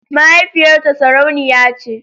Mahaifiyarta sarauniya ce.